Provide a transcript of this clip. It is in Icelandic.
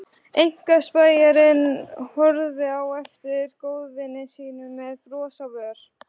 Einkaspæjarinn horfði á eftir góðvini sínum með bros á vör.